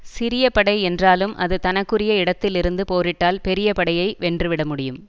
சிறிய படை என்றாலும் அது தனக்குரிய இடத்தில் இருந்து போரிட்டால் பெரிய படையை வென்று விட முடியும்